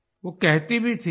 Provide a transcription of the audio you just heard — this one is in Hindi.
वो कहती भी थी